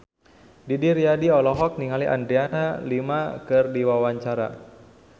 Didi Riyadi olohok ningali Adriana Lima keur diwawancara